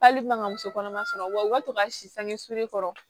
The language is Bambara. Hali man ka muso kɔnɔma sɔrɔ wa u ka to ka si sange su kɔrɔ